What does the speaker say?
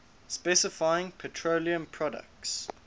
specifying petroleum products